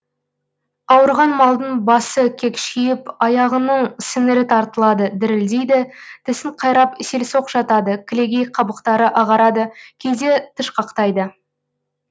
ауырған малдың басы кекшиіп аяғының сіңірі тартылады дірілдейді тісін қайрап селсоқ жатады кілегей қабықтары ағарады кейде тышқақтайды